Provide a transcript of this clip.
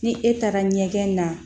Ni e taara ɲɛgɛn na